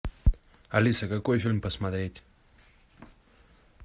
алиса какой фильм посмотреть